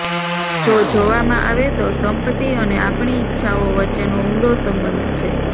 જો જોવામાં આવે તો સંપત્તિ અને આપણી ઇચ્છાઓ વચ્ચેનો ઊંડો સંબંધ છે